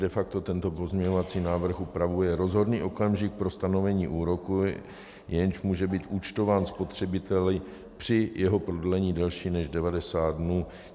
De facto tento pozměňovací návrh upravuje rozhodný okamžik pro stanovení úroku, jenž může být účtován spotřebiteli při jeho prodlení delším než 90 dnů.